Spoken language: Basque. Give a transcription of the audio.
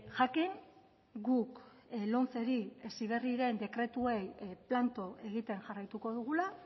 jakin guk lomceri heziberriren dekretuei planto egiten jarraituko dugula